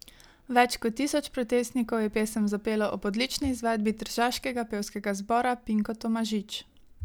Več kot tisoč protestnikov je pesem zapelo ob odlični izvedbi tržaškega pevskega zbora Pinko Tomažič.